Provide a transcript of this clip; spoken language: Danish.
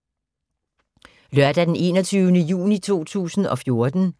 Lørdag d. 21. juni 2014